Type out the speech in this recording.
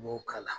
N b'o k'a la